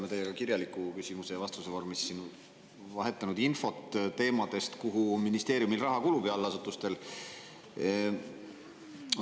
Me oleme teiega kirjaliku küsimuse ja vastuse vormis vahetanud infot teemal, kuhu ministeeriumil ja selle allasutustel raha kulub.